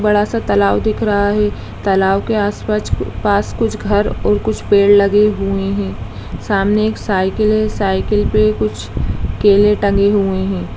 बड़ा-सा तलाव दिख रहा है तलाव के आस-पाच पास कुछ घर और कुछ पेड़ लगे हुए हैं सामने एक साइकिल है सायकिल पे कुछ केले टंगे हुए हैं।